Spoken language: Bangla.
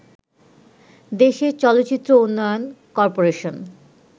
দেশের চলচ্চিত্র উন্নয়ন করপোরেশন